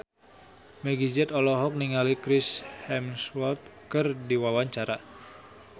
Meggie Z olohok ningali Chris Hemsworth keur diwawancara